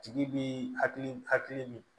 Tigi bi hakili hakili min